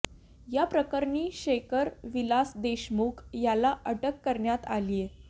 या प्रकरणी शेखर विलास देशमुख याला अटक करण्यात आलीय